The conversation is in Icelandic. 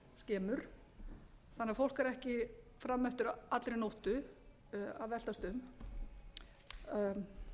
þannig að fólk er ekki fram eftir allri nóttu að veltast um